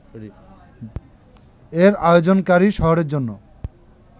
এর আয়োজনকারী শহরের জন্য